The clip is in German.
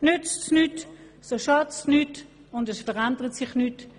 Nützt es nichts, so schadet es nichts und es verändert nichts.